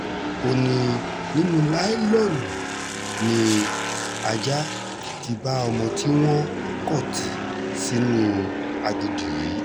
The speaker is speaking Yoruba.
ó ní nínú láìlóònù ni ajá ti bá ọmọ tí wọn kò tì sínú aginjù yìí